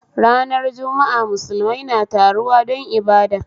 Ranar jumu'a musulmai na taruwa don ibada